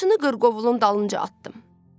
Qamçını qırqovulun dalınca atdım.